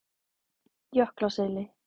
Jöklaseli